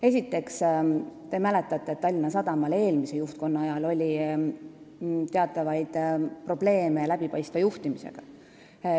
Esiteks, te mäletate, et Tallinna Sadamal oli eelmise juhtkonna ajal teatavaid probleeme juhtimise läbipaistvusega.